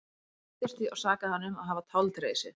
Hún reiddist því og sakaði hann um að hafa táldregið sig.